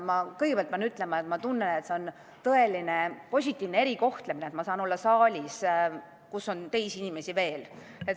Ma pean kõigepealt ütlema, et see on tõeliselt positiivne erikohtlemine, et ma saan olla saalis, kus on teisi inimesi veel.